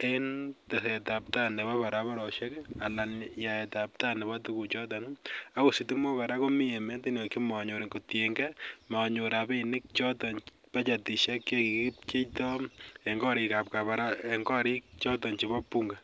en tesetap tai nepo pararaparoshek anan yaetap tai nepo tuguchoton. Akot sitimok kora komi ematunwek che manyor kotiny gei manyor rapinik chotok , bajetishek che kikipcheitoi eng' koriik choton chepo Bunge.